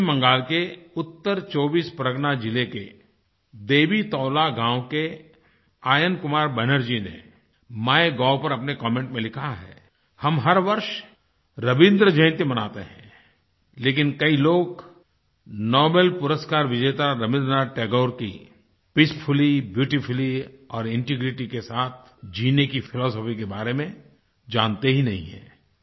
पश्चिम बंगाल के उत्तर 24 परग़ना ज़िले के देवीतोला गाँव के आयन कुमार बनर्जी ने माइगोव पर अपने कमेंट में लिखा है हम हर वर्ष रबीन्द्र जयंती मनाते हैं लेकिन कई लोग नोबेल पुरस्कार विजेता रबीन्द्रनाथ टैगोर की पीसफुली ब्यूटीफुली और इंटीग्रिटी के साथ जीने की फिलॉसफी के बारे में जानते ही नहीं हैं